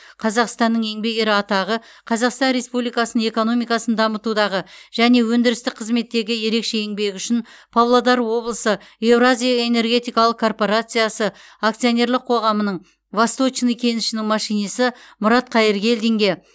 қазақстанның еңбек ері атағы қазақстан республикасының экономикасын дамытудағы және өндірістік қызметтегі ерекше еңбегі үшін павлодар облысы еуразия энергетикалық корпорациясы акционерлік қоғамының восточный кенішінің машинисі мұрат қайыргелдинге